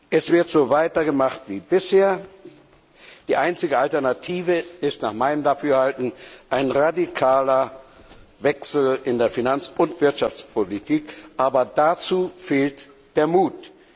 Es wird so weitergemacht wie bisher. Die einzige Alternative ist nach meinem Dafürhalten ein radikaler Wechsel in der Finanz und Wirtschaftspolitik. Aber dazu fehlt der Mut!